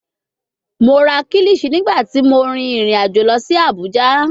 Mo ra kilichi nigbati mo rin irin ajo lọ si Abuja